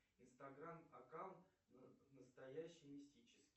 инстаграм аккаунт настоящий мистический